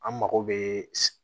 An mako bɛ